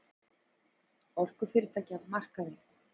Orkufyrirtækin af markaði